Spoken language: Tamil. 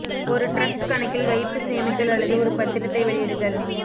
ஒரு டிரஸ்ட் கணக்கில் வைப்பு சேமித்தல் அல்லது ஒரு பத்திரத்தை வெளியிடுதல்